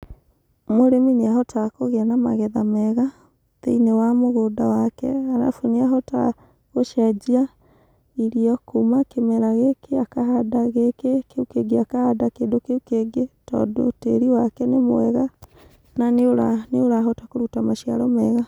Mũrĩmi nĩahotaga kũgĩa na magetha mega thĩinĩ wa mũgũnda wake. Arabu nĩahotaga gũcenjia irio kuma kĩmera gĩkĩ akahanda kĩndũ gĩkĩ, kĩu kĩngĩ akahanda kĩndũ kĩngĩ, tondũ tĩri wake nĩ mwega na nĩũrahota kũruta maciaro mega.